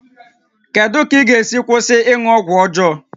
Kedu ka ị ga-esi kwụsị ịṅụ ọgwụ ọjọọ?